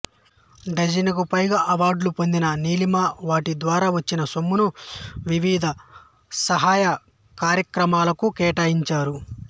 డజనుకు పైగా అవార్డులు పొందిన నీలిమ వాటి ద్వారా వచ్చిన సొమ్మును వివిధ సహాయ కార్యక్రమాలకు కేటాయించారు